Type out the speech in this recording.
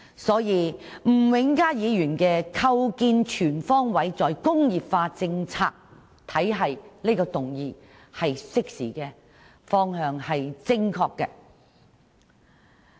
可見吳永嘉議員提出這項"構建全方位'再工業化'政策體系"議案是適時的，方向是正確的。